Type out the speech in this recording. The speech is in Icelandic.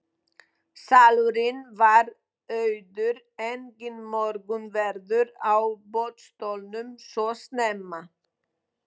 Salurinn var auður, enginn morgunverður á boðstólum svo snemma.